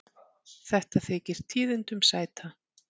Þetta þykir tíðindum sæta.